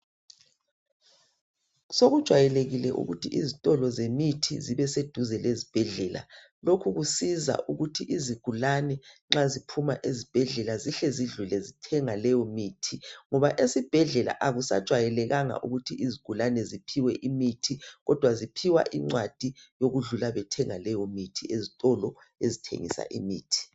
Sokujwayelekile ukuthi izitolo zemithi zibe seduze lezibhedlela. Lokhu kusiza ukuthi izigulane nxa ziphuma ezibhedlela zihle zidlule zithenga leyomithi ngoba ezibhedlela akusajwayelekanga ukuthi izigulane ziphiwe imithi kodwa ziphiwa incwadi yokudlula bethenga leyomithi ezitolo ezithengisa imithi.